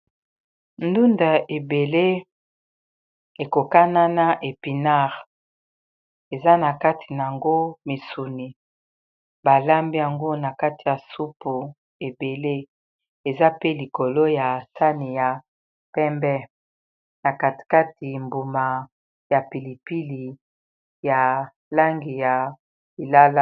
Ndunda ebele ekokanana epinard eza na kati na yango misuni balambi yango na kati ya supu ebele eza pe likolo ya sani ya pembe na katikati mbuma ya pilipili ya langi ya lilala